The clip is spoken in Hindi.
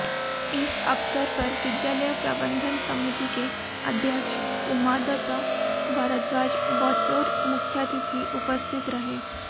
इस अवसर पर विद्यालय प्रबंधन समिति के अध्यक्ष उमादत्त भारद्वाज बतौर मुख्यातिथि उपस्थित रहे